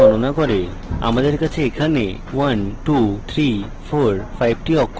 আমাদের কাছে এখানে 1 2 3 4 5 টি অক্ষর রয়েছে